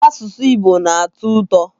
Asụsụ Igbo na-atọ ụtọ.